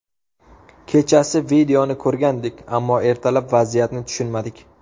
Kechasi videoni ko‘rgandik, ammo ertalab vaziyatni tushunmadik.